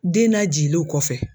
Den najigilenw kɔfɛ